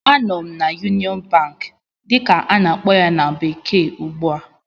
Anọ m na "Union Bank" dịka a na-akpọ ya na bekee ugbu a